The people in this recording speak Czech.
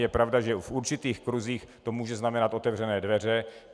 Je pravda, že v určitých kruzích to může znamenat otevřené dveře.